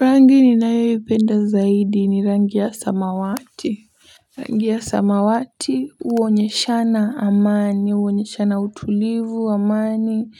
Rangi ninayo ipenda zaidi ni rangi ya samawati. Rangi ya samawati huonyeshana amani huonyeshana utulivu, amani